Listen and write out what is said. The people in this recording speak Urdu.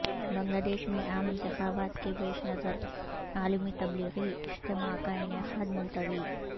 بنگلہ دیش میں عام انتخابات کے پیش نظر عالمی تبلیغی اجتماع کا انعقاد ملتوی